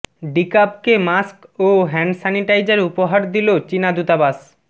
ডিকাবকে mask ও hand sanitizer উপহার দিলো চীনা দূতাবাস